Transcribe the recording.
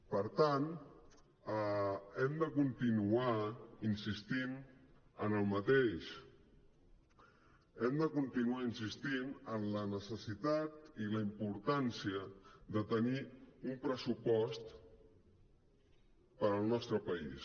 per tant hem de continuar insistint en el mateix hem de continuar insistint en la necessitat i la importància de tenir un pressupost per al nostre país